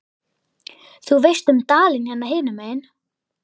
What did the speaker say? Þú veist um dalinn hérna hinum megin.